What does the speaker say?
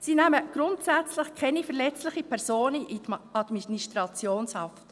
Sie nehmen grundsätzlich keine verletzlichen Personen in Administrationshaft.